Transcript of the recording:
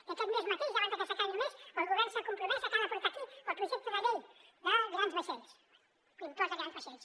i aquest mes mateix ja abans de que s’acabi el mes el govern s’ha compromès a que ha de portar aquí el projecte de llei de grans vaixells l’impost de grans vaixells